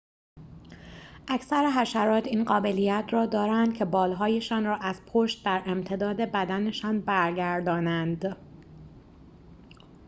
اکثر حشرات این قابلیت را دارند که بال‌هایشان را از پشت در امتداد بدنشان برگردانند